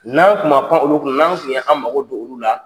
N'an tun ma pan olu kan, n'an kun y'an mago don olu la.